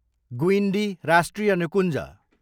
गुइन्डी राष्ट्रिय निकुञ्ज